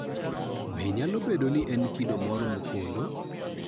Be nyalo bedo ni en kido moro mopondo?